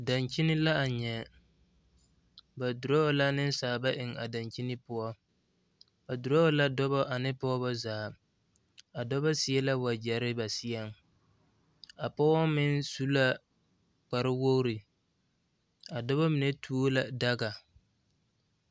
Dakyini la a nyɛ ba duro la nensaala eŋ a dakyini poɔ ba duro la dɔbɔ ne pɔgebɔ ba zaa a dɔbɔ seɛ la wagyɛre ba seɛŋ a pɔgeba meŋ su la kparewogri a dɔbɔ mine tuo la daga.